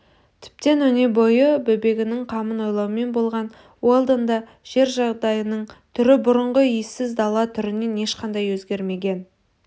тіптен өнебойы бөбегінің қамын ойлаумен болған уэлдон да жер жағдайының түрі бұрынғы иесіз дала түрінен ешқандай өзгермегенін